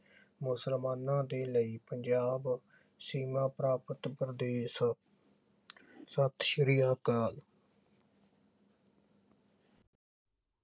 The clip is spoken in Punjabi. ਮੁਸਲਮਾਨਾਂ ਦੇ ਲਈ ਪੰਜਾਬ ਸੀਮਾ ਪ੍ਰਾਪਤ ਪ੍ਰਦੇਸ਼ ਸਤ ਸ੍ਰੀ ਅਕਾਲ